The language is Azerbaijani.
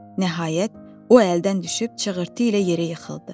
Nəhayət, o əldən düşüb çığırtı ilə yerə yıxıldı.